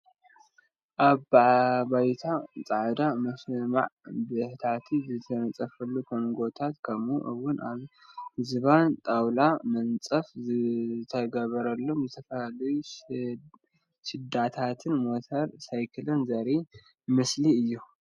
ኣብ ባይታ ፃዕዳ መሸማዕ ብታሕቲ ዝተነፀፈሎም ኮንጎታት ከምኡ እውን ኣብ ዝባን ጣውላ መንፀፍ ዝተገበረሎም ዝተፈላለዩ ሽዳታትን ሞተር ሳይክልን ዘርኢ ምስሊ እዩ፡፡